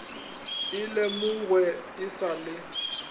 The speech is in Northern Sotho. e lemogwe e sa le